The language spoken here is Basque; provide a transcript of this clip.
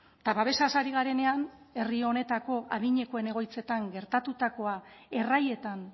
eta babesaz ari garenean herri honetako adinekoen egoitzetan gertatutakoa erraietan